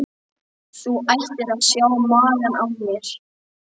Þú ættir að sjá magann á mér.